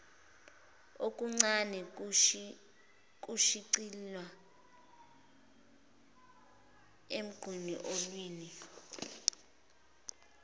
okuncane kushicilelwa emqulwini